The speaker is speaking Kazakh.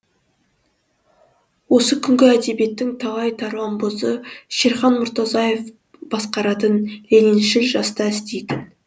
осы күнгі әдебиеттің талай тарланбозы шерхан мұртазаев басқаратын лениншіл жаста істейтін